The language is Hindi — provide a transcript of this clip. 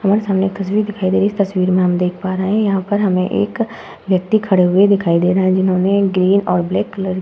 हमारे सामने एक तस्वीर दिखाई दे रही है इस तस्वीर में हम देख पा रहे हैं। यहाँ पर हमे एक व्यक्ति खड़े हुए दिखाई दे रहे हैं जिन्होंने ग्रीन और ब्लैक कलर --